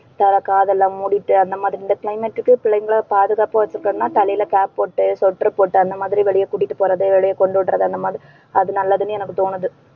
அஹ் காதெல்லாம் மூடிட்டு அந்த மாதிரி இந்த climate க்கு பிள்ளைங்களை பாதுகாப்பா வச்சுக்கணும்ன்னா தலையில cap போட்டு sweater போட்டு அந்த மாதிரி வெளிய கூட்டிட்டு போறது வெளிய கொண்டு உட்றது அந்த மாதிரி அது நல்லதுன்னு எனக்கு தோணுது.